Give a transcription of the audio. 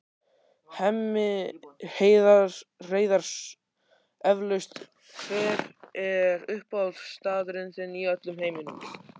Hemmi Hreiðars eflaust Hver er uppáhaldsstaðurinn þinn í öllum heiminum?